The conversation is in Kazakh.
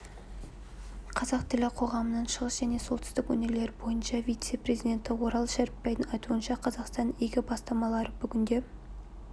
қазақ тілі қоғамының шығыс және солтүстік өңірлер бойынша вице-президенті орал шәріпбайдың айтуынша қазақстанның игі бастамалары бүгінде